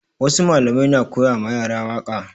Wasu malamai na koya ma yara waƙa